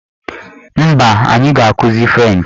Mba, anyị ga-akụzi frenchị.